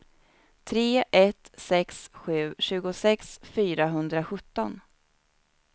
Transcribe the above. tre ett sex sju tjugosex fyrahundrasjutton